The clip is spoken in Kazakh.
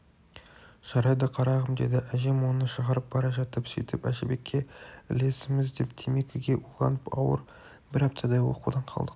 жарайды қарағым деді әжем оны шығарып бара жатып сөйтіп әжібекке ілесеміз деп темекіге уланып ауырып бір аптадай оқудан қалдық